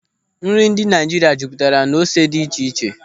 Nri ndị Naịjirịa jupụtara n'ose dị iche iche.